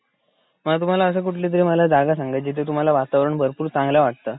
मला तुम्हाला अशी कुठली तरी मला जागा सांगायची जिथे तुम्हाला वातावरण भरपूर चांगलं वाटत